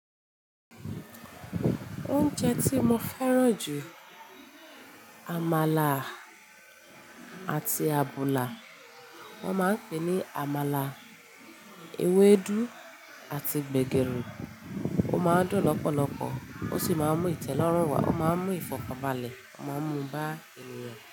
Oúnjẹ tí mo fẹ́ràn jù ni àmàlà àti àbùlà. Wọ́n máa ń pè é ní àmàlà, ewédú àti gbẹ̀gẹ́ri. Ó máa ń dùn lọ́pọ̀lọpọ̀, ó sì máa ń mú ìtẹ́lọ́rùn wá, ó máa ń mú ìfọ̀kànbalẹ̀, ó máa ń mú bá ènìyàn.